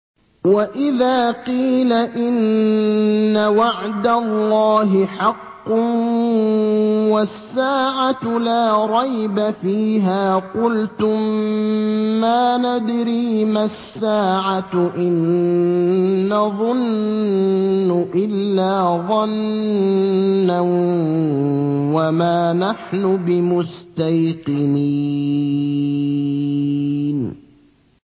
وَإِذَا قِيلَ إِنَّ وَعْدَ اللَّهِ حَقٌّ وَالسَّاعَةُ لَا رَيْبَ فِيهَا قُلْتُم مَّا نَدْرِي مَا السَّاعَةُ إِن نَّظُنُّ إِلَّا ظَنًّا وَمَا نَحْنُ بِمُسْتَيْقِنِينَ